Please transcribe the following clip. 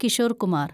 Kishore Kumar